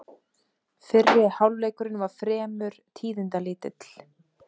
Fyrri hálfleikurinn var fremur tíðindalítill